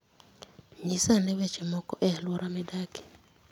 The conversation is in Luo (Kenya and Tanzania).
Nyisa ane weche moko e wi alwora midakie